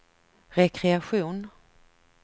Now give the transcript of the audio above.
rekreation